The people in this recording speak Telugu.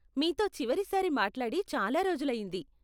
మీతో చివరి సారి మాట్లాడి చాలా రోజులు అయింది.